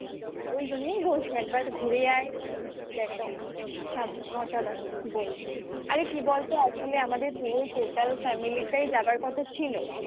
ওই জন্যই বলছি একবার ঘুরে আয়. জায়গাটা অসাধারণ. অসাধারণ. কি বলবো আরে কি বলতো hopefully আমাদের পুরো total family টাই যাবার কথা ছিল.